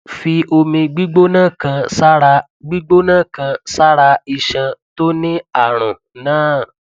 fi omi gbígbóná kan sára gbígbóná kan sára iṣan tó ní àrùn náà